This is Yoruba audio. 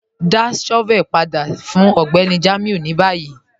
Dá shọ́vẹ̀lì padà sí Ọgbẹ́ni Jamiu ni bayí.